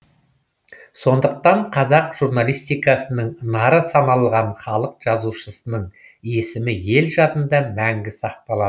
сондықтан қазақ журналистикасының нары саналған халық жазушысының есімі ел жадында мәңгі сақталады